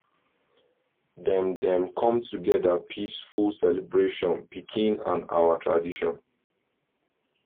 dem dem com together peaceful celebrate pikin and our tradition